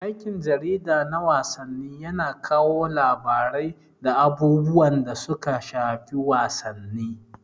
Aikin jarida na wasanni yana kawo labarai da abubuwan da suka shafi wasanni.